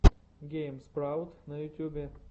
гейм спраут на ютубе